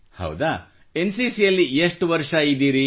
ಹೌದಾ ಎನ್ಸಿಸಿಯಲ್ಲಿ ಎಷ್ಟು ವರ್ಷ ಇದ್ದಿರಿ